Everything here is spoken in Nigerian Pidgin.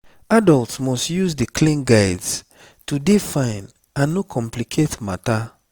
adults must use di clean guides to dey fine and no complicate matter